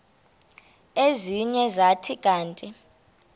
ezinye zathi kanti